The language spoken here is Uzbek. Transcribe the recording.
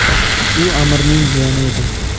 U amirning jiyani edi.